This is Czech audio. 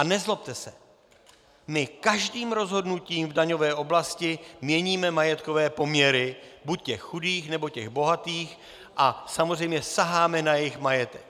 A nezlobte se, my každým rozhodnutím v daňové oblasti měníme majetkové poměry buď těch chudých, nebo těch bohatých, a samozřejmě saháme na jejich majetek.